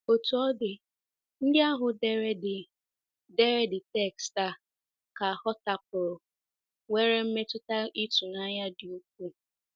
Otú ọ dị, ndị ahụ dere the dere the text a ka hotapụrụ nwere mmetụta ịtụnanya dị ukwuu.